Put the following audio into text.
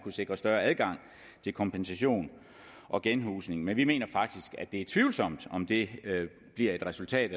sikre større adgang til kompensation og genhusning men vi mener faktisk at det er tvivlsomt om det bliver et resultat